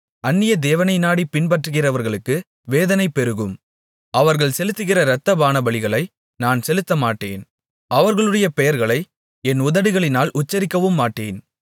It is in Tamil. அந்நியதேவனை நாடிப் பின்பற்றுகிறவர்களுக்கு வேதனைகள் பெருகும் அவர்கள் செலுத்துகிற இரத்த பானபலிகளை நான் செலுத்தமாட்டேன் அவர்களுடைய பெயர்களை என் உதடுகளினால் உச்சரிக்கவுமாட்டேன்